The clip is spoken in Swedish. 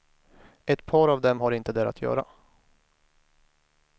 Ett par av dem har inte där att göra.